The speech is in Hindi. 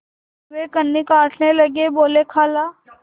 वे कन्नी काटने लगे बोलेखाला